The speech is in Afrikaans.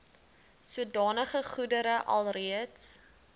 sodanige goedere alreeds